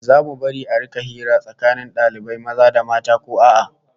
Zamu bari a rika hira tsakanin dalibai maza da mata ko a'a?